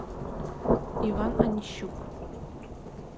иван онищук